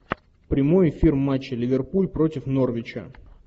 прямой эфир матча ливерпуль против норвича